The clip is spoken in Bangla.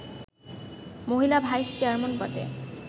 মহিলা ভাইস-চেয়ারম্যান পদে